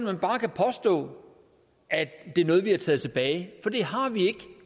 man bare kan påstå at det er noget vi har taget tilbage for det har vi ikke